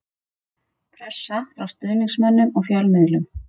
Pressa frá stuðningsmönnum og fjölmiðlum.